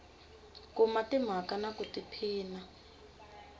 kuma timhaka na ku tiphina